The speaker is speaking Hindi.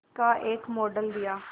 का एक मॉडल दिया